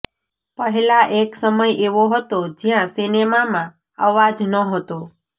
પહેલા એક સમય એવો હતો જ્યારે સિનેમામાં અવાજ નહોતો